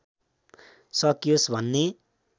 सकियोस् भन्ने